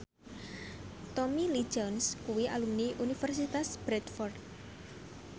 Tommy Lee Jones kuwi alumni Universitas Bradford